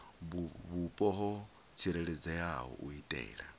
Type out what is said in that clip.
vhupo ho tsireledzeaho u itela